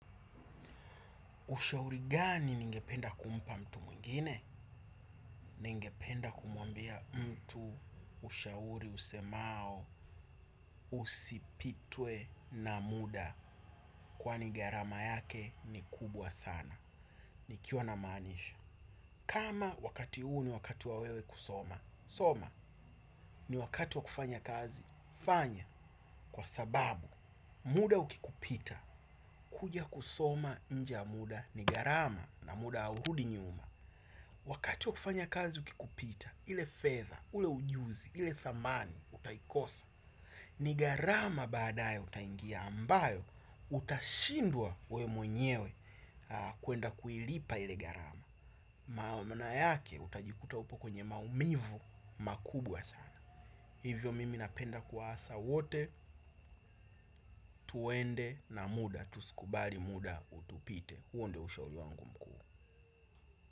Ushauri gani ningependa kumpa mtu mwingine? Ningependa kumuambia mtu, ushauri, usemao, usipitwe na muda. Kwani gharama yake ni kubwa sana. Nikiwa namaanisha. Kama wakati huu ni wakati wa wewe kusoma. Soma ni wakati wa kufanya kazi. Fanya kwa sababu muda ukikupita. Kuja kusoma inje ya muda ni gharama na muda haurudi nyuma. Wakati wa kufanya kazi ukikupita, ile fedha, ule ujuzi, ile thamani, utaikosa. Ni gharama baadaye utaingia ambayo utashindwa we mwenyewe kuenda kuilipa ile gharama. Maana yake utajikuta upo kwenye maumivu makubwa sana. Hivyo mimi napenda kuwasa wote, tuende na muda, tusikubali muda utupite. Huo ndio ushauri wangu mkuu.